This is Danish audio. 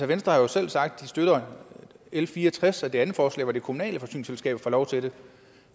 venstre har jo selv sagt at de støtter l fire og tres det andet forslag hvor de kommunale forsyningsselskaber får lov til det